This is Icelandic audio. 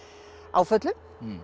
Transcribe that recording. áföllum